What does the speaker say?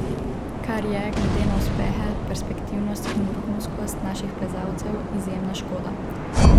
Kar je, glede na uspehe, perspektivnost in vrhunskost naših plezalcev, izjemna škoda.